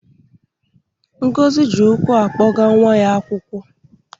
Ngozi ji ụkwụ akpọga nwa ya akwụkwọ.